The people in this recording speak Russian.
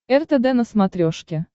ртд на смотрешке